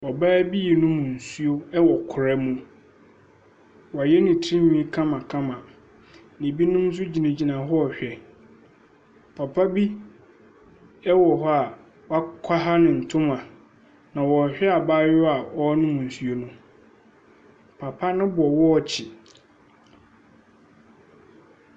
Ɔbaa bi nom nsuo ɛwɔ kura mu. Wayɛ ne tiri nwii kamakama. Ebinom nso gyina gyina hɔ hwɛ. Papa bi ɛwɔ hɔ a wakwaha ne ntoma. Na ɔhwɛ abaayewa a ɔnom nsuo no. Papa no bɔ wɔkye.